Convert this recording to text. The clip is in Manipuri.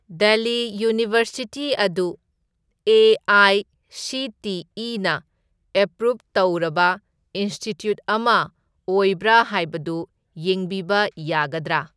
ꯗꯦꯜꯂꯤ ꯌꯨꯅꯤꯚꯔꯁꯤꯇꯤ ꯑꯗꯨ ꯑꯦ.ꯑꯥꯏ.ꯁꯤ.ꯇꯤ.ꯏ.ꯅ ꯑꯦꯄ꯭ꯔꯨꯞ ꯇꯧꯔꯕ ꯏꯟꯁ꯭ꯇꯤꯇ꯭ꯌꯨꯠ ꯑꯃ ꯑꯣꯏꯕ꯭ꯔꯥ ꯍꯥꯏꯕꯗꯨ ꯌꯦꯡꯕꯤꯕ ꯌꯥꯒꯗ꯭ꯔꯥ?